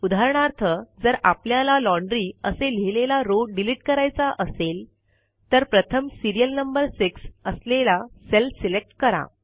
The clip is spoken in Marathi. उदाहरणार्थ जर आपल्याला लॉन्ड्री असे लिहिलेला रो डिलिट करायचा असेल तर प्रथम सिरियल नंबर 6 असलेला सेल सिलेक्ट करा